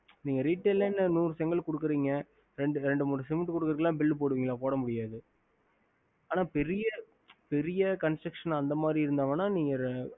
நீங்க resaele இரண்டு மூணு செங்கல் குடுக்கிறிங்க அதுக்குள்ள bill போடா முடியாதுஅனா பெரிய construction அந்த மாரி இருந்த ஒண்ணா